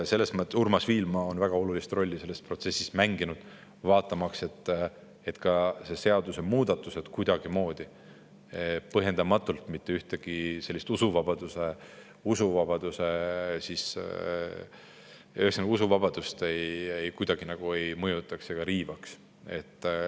Selles mõttes on Urmas Viilma mänginud selles protsessis väga olulist rolli, vaadates, et ka selle seaduse muudatused kuidagimoodi põhjendamatult usuvabadust kuidagi ei mõjutaks ega riivaks.